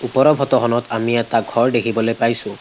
ওপৰৰ ফটো খনত আমি এটা ঘৰ দেখিবলৈ পাইছোঁ।